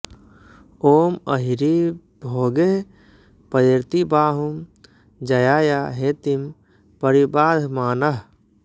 ॐ अहिरिव भोगैः पयेर्ति बाहंु ज्याया हेतिं परिबाधमानः